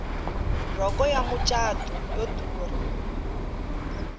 rhoko ya macatu yo durha